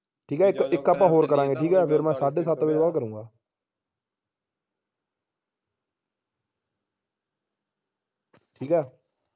ਠੀਕ ਆ ਇਕ ਇਕ ਆਪਾ ਹੋਰ ਕਰਾਂਗੇ ਠੀਕ ਆ ਫੇਰ ਮੈਂ ਸਾਡੇ ਸੱਤ ਬਜੇ ਤੋਂ ਬਾਅਦ ਕਰੂੰਗਾ ਠੀਕ ਆ